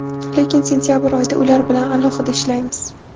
Lekin sentabr oyida ular bilan alohida ishlaymiz.